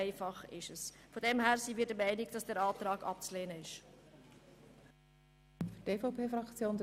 Daher soll dieser Antrag abgelehnt werden.